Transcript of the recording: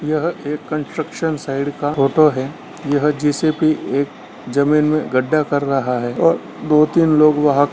यहाँ एक construction side का फोटो है यहाँ जे.सी.बी एक जमीं में गड्ढा कर रहा है और दो तीन लोग वहां--